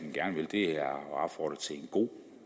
god